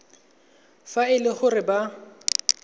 fa e le gore ba